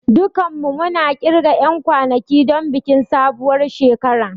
Dukanmu muna ƙirga 'yan kwanaki don bikin sabuwar shekara.